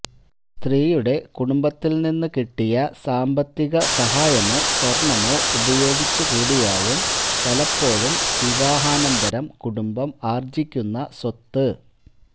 സ്ത്രീയുടെ കുടുംബത്തില്നിന്ന്കിട്ടിയ സാമ്പത്തിക സഹായമോ സ്വര്ണ്ണമോ ഉപയോഗിച്ചുകൂടിയാവും പലപ്പോഴും വിവാഹാനന്തരം കുടുംബം ആര്ജ്ജിക്കുന്ന സ്വത്ത്